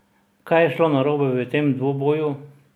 Kaj je šlo narobe v tem dvoboju?